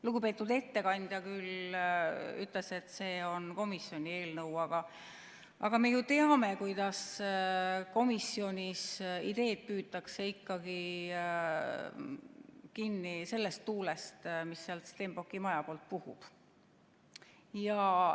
Lugupeetud ettekandja küll ütles, et see on komisjoni eelnõu, aga me ju teame, kuidas komisjonis ideed püütakse ikkagi kinni sellest tuulest, mis sealt Stenbocki maja poolt puhub.